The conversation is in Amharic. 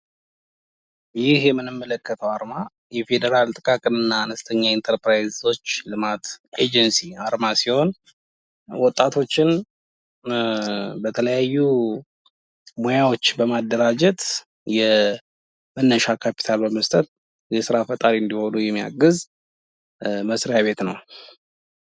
ይህ የምንመለከተው አርማ የፌዴራል ጥቃቅንና አነስተኛ ኢንተርፕራይዞች ልማት ኤጀንሲ አርማ ሲሆን ወጣቶችን በተለያዩ ሙያዎች በማደራጀት የመነሻ ካፒታል በመስጠት የስራ ፈጣሪ እንዲሆኑ የማያግዝ መስሪያ ቤት ነው።